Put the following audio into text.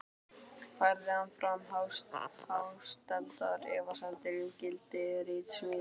Færði hann fram hástemmdar efasemdir um gildi ritsmíða sinna.